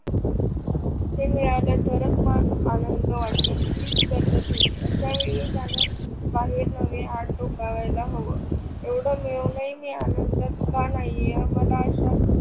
ते मिळाल तरच आनंद वाटेल हीच गल्लत होती आशा वेळी त्यान बाहेर नवे आत डोकेला हव. एवढ मिळूनही मी आनंदात का नाही आहे मला आशा,